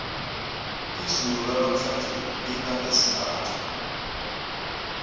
izulu lanamhlanje lina ngesinanja